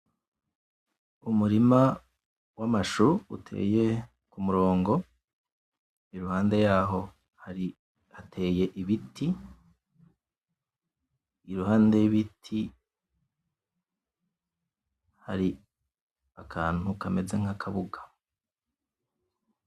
Umurima w'amashu uteye kumorongo iruhande yaho hateye ibiti, iruhande y'ibiti hari akantu kameze nk'akabuga.